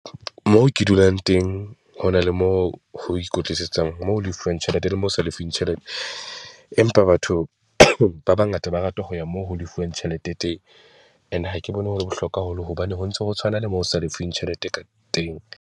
Moo ke dulang teng, ho na le moo ho ikwetlisetswang mo lefuwang tjhelete le moo ho sa lefung tjhelete, empa batho ba bangata ba rata ho ya moo ho lefuwang tjhelete teng. Ene ha ke bone ho le bohlokwa haholo hobane ho ntso ho tshwana le moo o sa lefiwing tjhelete ka teng.